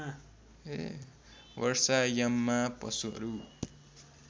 वर्षा याममा पशुहरू